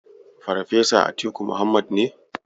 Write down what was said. Farfesa Atiku Muhammad ne.